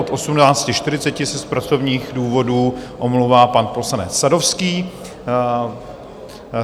Od 18.40 se z pracovních důvodů omlouvá pan poslanec Sadovský.